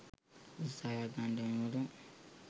උත්සාහයක් ගන්නව වෙනුවට